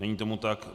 Není tomu tak.